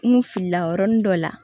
N kun filila yɔrɔni dɔ la